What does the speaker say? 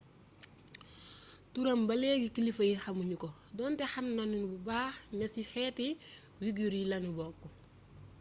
turam ba léegi kilifa yi xamu nu ko donte xam nanu bu baax ne ci xeeti uighur yi lanu bokk